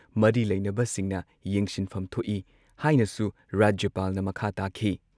ꯃꯔꯤ ꯂꯩꯅꯕꯁꯤꯡꯅ ꯌꯦꯡꯁꯤꯟꯐꯝ ꯊꯣꯛꯏ ꯍꯥꯏꯅꯁꯨ ꯔꯥꯖ꯭ꯌꯄꯥꯜꯅ ꯃꯈꯥ ꯇꯥꯈꯤ ꯫